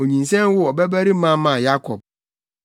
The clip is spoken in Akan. Onyinsɛn woo ɔbabarima maa Yakob.